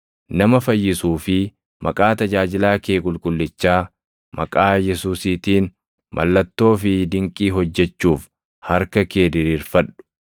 Nama fayyisuu fi maqaa tajaajilaa kee qulqullichaa, maqaa Yesuusiitiin mallattoo fi dinqii hojjechuuf harka kee diriirfadhu.”